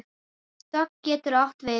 Dögg getur átt við